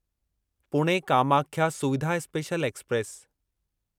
Pune Kamakhya Suvidha special express